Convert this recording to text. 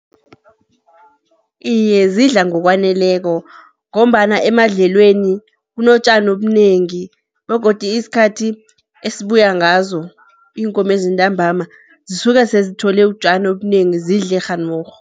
Iye, zidla ngokwaneleko, ngombana emadlelweni kunotjani obunengi begodu isikhathi esibuya ngazo iinkomezi ntambama zisuke sezithole utjani obunengi, zidle kghanorho.